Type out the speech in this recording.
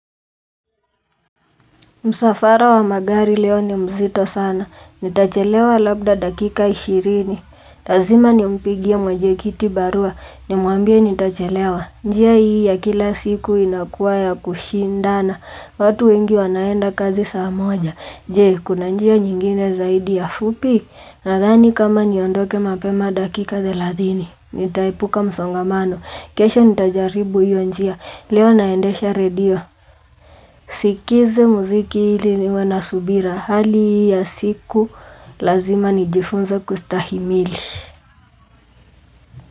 Musafara wa magari leo ni mzito sana, nitachelewa labda dakika ishirini, lazima nimpigia mwenyekiti barua, nimwambie nitachelewa, njia hii ya kila siku inakuwa ya kushindana, watu wengi wanaenda kazi saamoja, je kuna njia nyingine zaidi ya fupi, nadhani kama niondoke mapema dakika deladhini, nitaipuka msongamano, kesho nitajaribu hiyo njia, leo naendesha redio. Sikize muziki hili niwanasubira hali ya siku lazima nijifunze kustahimili.